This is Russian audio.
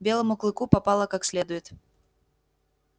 белому клыку попало как следует